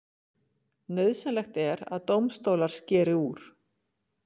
Nauðsynlegt að dómstólar skeri úr